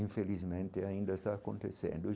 Infelizmente ainda está acontecendo.